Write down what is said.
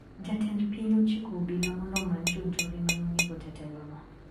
Jatend piny ochiko obila mondo omany jonjore manonego jatelono.